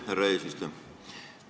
Härra välisminister!